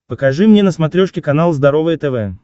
покажи мне на смотрешке канал здоровое тв